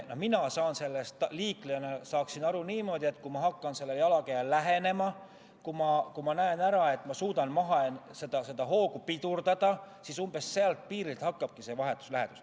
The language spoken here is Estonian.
Aga mina saan sellest liiklejana aru niimoodi, et kui ma hakkan jalakäijale lähenema, kui ma näen ära, et ma suudan hoogu pidurdada, siis umbes sellest piirist hakkabki vahetu lähedus.